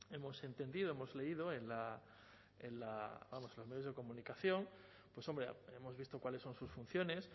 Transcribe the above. hemos entendido hemos leído en los medios de comunicación pues hombre hemos visto cuáles son sus funciones